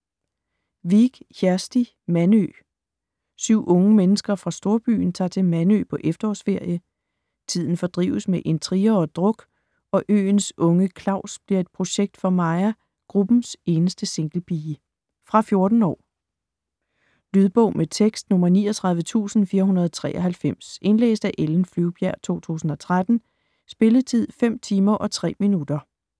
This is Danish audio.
Vik, Kjersti: Mandø 7 unge mennesker fra storbyen tager til Mandø på efterårsferie. Tiden fordrives med intriger og druk, og øens unge Claus bliver et projekt for Maja, gruppens eneste singlepige. Fra 14 år. Lydbog med tekst 39493 Indlæst af Ellen Flyvbjerg, 2013. Spilletid: 5 timer, 3 minutter.